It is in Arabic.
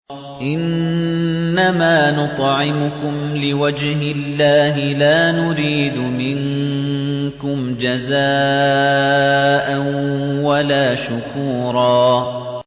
إِنَّمَا نُطْعِمُكُمْ لِوَجْهِ اللَّهِ لَا نُرِيدُ مِنكُمْ جَزَاءً وَلَا شُكُورًا